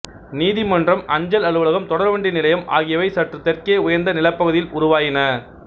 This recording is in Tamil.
நீதிமன்றம் அஞ்சல் அலுவலகம் தொடர்வண்டி நிலையம் ஆகியவை சற்று தெற்கே உயர்ந்த நிலப்பகுதியில் உருவாயின